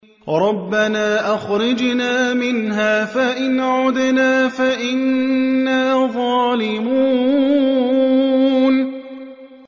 رَبَّنَا أَخْرِجْنَا مِنْهَا فَإِنْ عُدْنَا فَإِنَّا ظَالِمُونَ